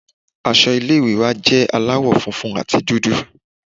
Aṣọ ilé ìwé wa jẹ́ aláwọ̀ funfun àti dúdú.